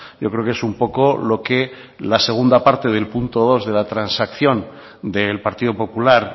yo creo que es un poco lo que la segunda parte del punto dos de la transacción del partido popular